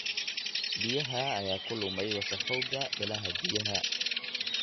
Biyaha ayaa ku lumay wasakhowga ilaha biyaha.